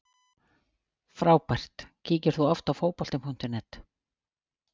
Frábært Kíkir þú oft á Fótbolti.net?